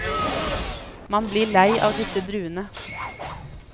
Man blir lei av disse druene.